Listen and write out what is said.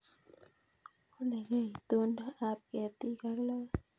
walekei itondo ab ketik ak logoek